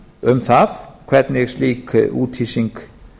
um það hvernig slík úthýsing